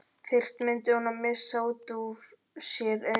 Fyrst mundi hún missa út úr sér augun.